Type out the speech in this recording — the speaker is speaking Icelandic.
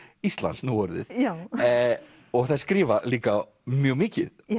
Íslands nú orðið og þær skrifa líka mjög mikið